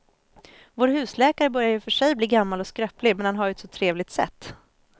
Vår husläkare börjar i och för sig bli gammal och skröplig, men han har ju ett sådant trevligt sätt!